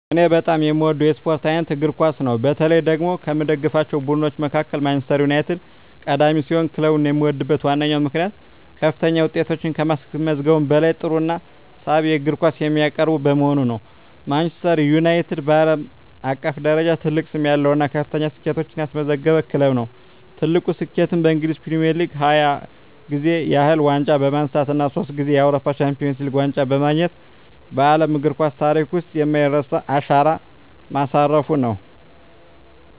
እኔ በጣም የምወደው የስፖርት አይነት እግር ኳስ ነው። በተለይ ደግሞ ከምደግፋቸው ቡድኖች መካከል ማንቸስተር ዩናይትድ ቀዳሚ ሲሆን፣ ክለቡን የምወድበት ዋነኛው ምክንያት ከፍተኛ ውጤቶችን ከማስመዝገቡም በላይ ጥሩና ሳቢ የእግር ኳስ የሚያቀርብ በመሆኑ ነው። ማንቸስተር ዩናይትድ (ማን ዩ) በዓለም አቀፍ ደረጃ ትልቅ ስም ያለው እና ከፍተኛ ስኬቶችን ያስመዘገበ ክለብ ነው። ትልቁ ስኬቱም በእንግሊዝ ፕሪሚየር ሊግ 20 ጊዜ ያህል ዋንጫ በማንሳት እና ሶስት ጊዜ የአውሮፓ ቻምፒየንስ ሊግ ዋንጫን በማግኘት በዓለም እግር ኳስ ታሪክ ውስጥ የማይረሳ አሻራ ማሳረፉ ነው።